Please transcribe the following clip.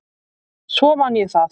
Svo man ég það.